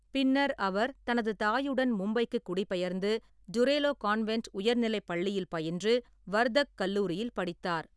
பின்னர் அவர் தனது தாயுடன் மும்பைக்கு குடிபெயர்ந்து டுரேலோ கான்வென்ட் உயர்நிலைப் பள்ளியில் பயின்று வர்தக் கல்லூரியில் படித்தார்.